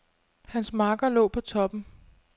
Hans marker lå på toppen.